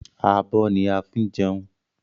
Abọ́ ni a fi ń jẹun